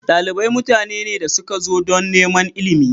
Dalibai mutane ne da suka zo don neman ilimi.